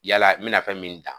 Yalala n mi na fɛn min dan.